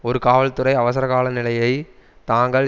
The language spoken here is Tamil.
ஒரு காவல்துறை அவசரகாலநிலையை தாங்கள்